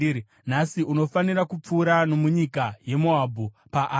“Nhasi unofanira kupfuura nomunyika yeMoabhu, paAri.